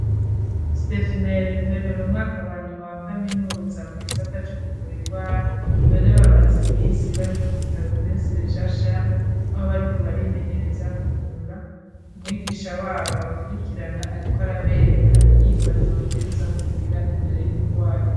Stephi na Hervé bari mu mwaka wa nyuma wa kaminuza mu gisata co kuvura ingwara ,none bamaze iminsi bari kubitaro Prince Régent Charles, aho bariko barimenyereza kuvura. Umwigisha wabo abakurikirana ariko arabereka inyifato babwiriza kugira imbere y'umurwayi.